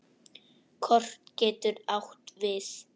Kort getur átt við